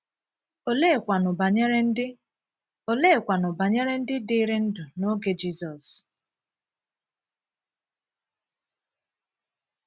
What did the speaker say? Òleekwànú banyere ndị Òleekwànú banyere ndị dìrì ndụ n’oge Jizọs?